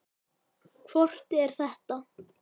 Hvort er það?